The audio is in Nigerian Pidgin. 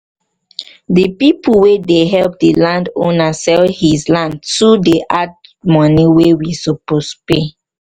people wey dey help the landowner sell his land too dey add to money wey we suppose pay